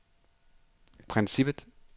princippet